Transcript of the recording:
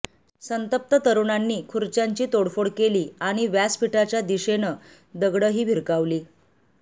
संतप्त तरुणांनी खुर्च्यांची तोडफोड केली आणि व्यासपीठाच्या दिशेनं दगडं ही भिरकावली